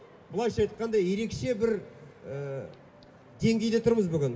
былайша айтқанда ерекше бір деңгейде тұрмыз бүгін